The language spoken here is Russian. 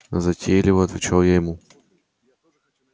затейливо отвечал я ему